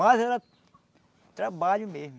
Mais era trabalho mesmo.